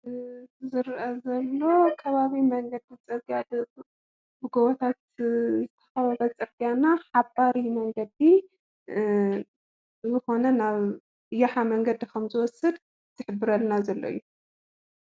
ዝርአ ዘሎ ኸባቢ መንገዲ ፅርግያ ብጎቦታት ዝተኸበበ ፅርግያና ሓባሪ መንገዲ ዝኾነ ናብ የሓ መንገዲ ከም ዝወስድ ዝሕብረልና እዩ።